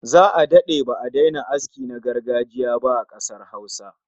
Za'a dade ba'a daina aski na gargajiya ba a kasar Hausa